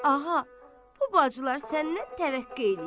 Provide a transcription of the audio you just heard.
Aha, bu bacılar səndən təvəqqe eləyirlər.